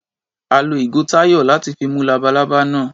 A lo ìgò Táyọ̀ láti fi mú labalábá náà.